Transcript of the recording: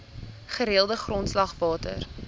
gereelde grondslag water